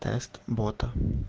тест бота